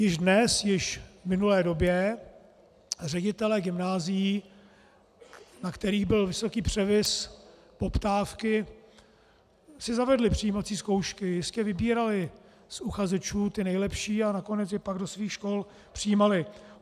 Již dnes, již v minulé době ředitelé gymnázií, na kterých byl vysoký převis poptávky, si zavedli přijímací zkoušky, jistě vybírali z uchazečů ty nejlepší a nakonec je pak do svých škol přijímali.